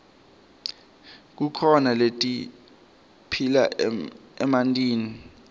kukhona letiphila emantini